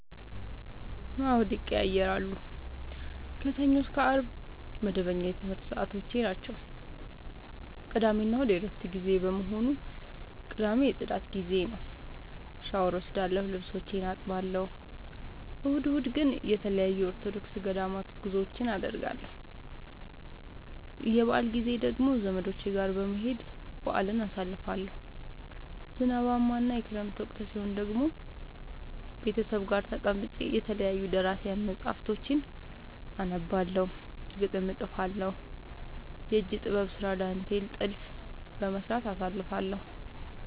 አዎድ ይቀየያራሉ። ከሰኞ እስከ አርብ መደበኛ የትምረት ሰዓቶቼናቸው ቅዳሜና እሁድ የእረፍት ጊዜ በመሆኑ። ቅዳሜ የፅዳት ጊዜዬ ነው። ሻውር እወስዳለሁ ልብሶቼን አጥባለሁ። እሁድ እሁድ ግን ተለያዩ የኦርቶዶክስ ገዳማት ጉዞወችን አደርገለሁ። የበአል ጊዜ ደግሞ ዘመዶቼ ጋር በመሄድ በአልን አሳልፋለሁ። ዝናባማ እና የክረምት ወቅት ሲሆን ደግሞ ቤተሰብ ጋር ተቀምጬ የተለያዩ ደራሲያን መፀሀፍቶችን አነባለሁ፤ ግጥም እጥፋለሁ፤ የእጅ ጥበብ ስራ ዳንቴል ጥልፍ በመስራት አሳልፍለሁ።